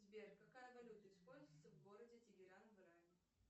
сбер какая валюта используется в городе тегеран в иране